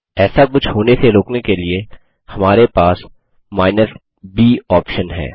ऐसा कुछ होने से रोकने के लिए हमारे पास केपिटल b ऑप्शन है